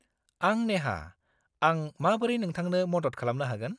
-आं नेहा, आं माबोरै नोंथांखौ मदद खालामनो हागोन?